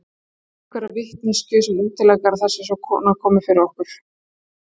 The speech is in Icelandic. Höfum við einhverja vitneskju sem útilokar að það sé svona komið fyrir okkur?